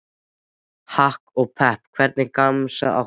Hakk og Pepp Hvernig gemsa áttu?